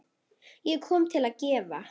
Ég kom til að gefa.